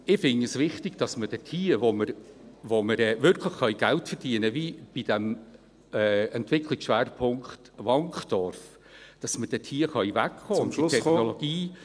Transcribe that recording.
Und ich finde es wichtig, dass wir dort, wo wir wirklich Geld verdienen können, wie beim Entwicklungsschwerpunkt Wankdorf, davon wegkommen können …